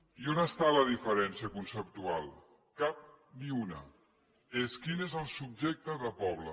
i on està la diferència conceptual cap ni una és quin és el subjecte de poble